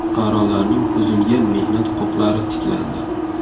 Fuqarolarning buzilgan mehnat huquqlari tiklandi.